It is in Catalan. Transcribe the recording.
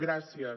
gràcies